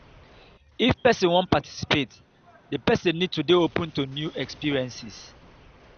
if person wan participate di person need to dey open to new experiences